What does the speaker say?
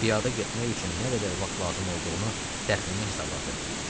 Piyada getmək üçün nə qədər vaxt lazım olduğunu təxmini hesabladı.